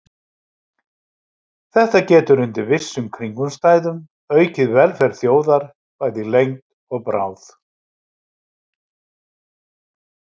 Þetta getur undir vissum kringumstæðum aukið velferð þjóðar, bæði í lengd og bráð.